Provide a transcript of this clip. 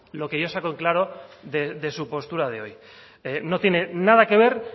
lo que yo saco en claro de su postura de hoy no tiene nada que ver